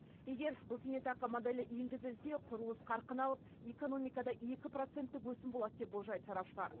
егер бұл зейнетақы моделі енгізілсе құрылыс қарқын алып экономикада екі проценттік өсім болады деп болжайды сарапшылар